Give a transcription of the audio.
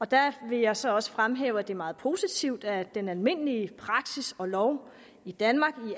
der vil jeg så også fremhæve at det er meget positivt at den almindelige praksis og lov i danmark